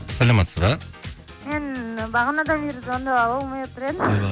саламатсыз ба мен бағанадан бері звондап ала алмай отыр едім